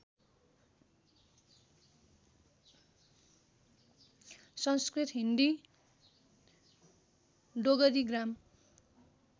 Sanskrit Hindi डोगरीग्राम